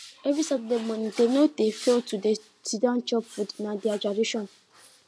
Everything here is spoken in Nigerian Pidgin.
every saturday morning dem no dey fail to to do siddon chop food na their tradition